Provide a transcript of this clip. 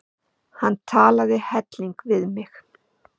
Hann talaði heillengi við mig.